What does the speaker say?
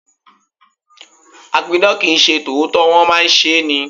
A pidàn kì ń ṣe tòótọ́, wón máa ń ṣe é ni.